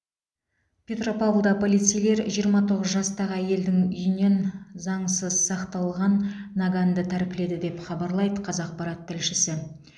петропавлда полицейлер жиырма тоғыз жастағы әйелдің үйінен заңсыз сақталған наганды тәркіледі деп хабарлайды қазақпарат тілшісі